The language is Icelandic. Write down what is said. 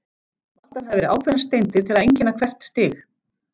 Valdar hafa verið ákveðnar steindir til að einkenna hvert stig.